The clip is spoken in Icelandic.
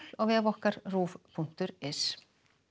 á vef okkar punktur is